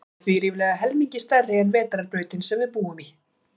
Hún er því ríflega helmingi stærri en vetrarbrautin sem við búum í.